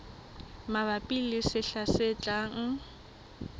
mabapi le sehla se tlang